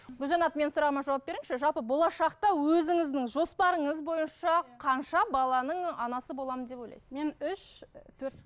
гүлжанат менің сұрағыма жауап беріңізші жалпы болашақта өзіңіздің жоспарыңыз бойынша қанша баланың анасы боламын деп ойлайсыз мен үш і төрт